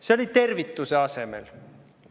See oli tervituse asemel.